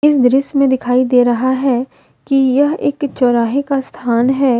इस दृश्य में दिखाई दे रहा है कि यह एक चौराहे का स्थान है।